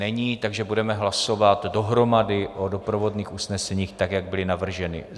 Není, takže budeme hlasovat dohromady o doprovodných usneseních tak, jak byla navržena.